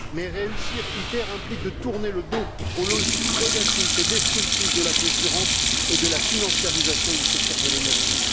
Mais réussir ITER implique de tourner le dos aux logiques prédatrices et destructrices de la concurrence et de la financiarisation du secteur de l'énergie.